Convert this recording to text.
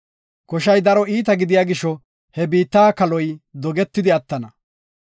Koshay daro iita gidiya gisho he biitta kaaloy dogetidi attana.